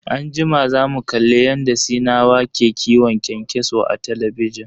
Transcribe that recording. Anjima zamu kalli yadda sinawa ke kiwon kyankyaso a talabijin.